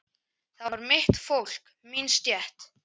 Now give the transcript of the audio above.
Það var mitt fólk, mín stétt.